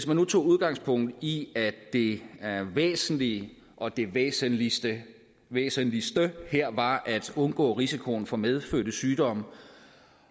nu tog udgangspunkt i at det væsentlige og det væsentligste væsentligste her var at undgå risikoen for medfødte sygdomme